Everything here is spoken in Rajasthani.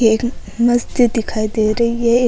एक मस्जिद दिखाई दे रही है एक --